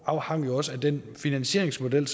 afhang også af den finansieringsmodel